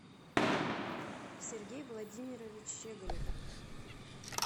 сергей владимирович щеголев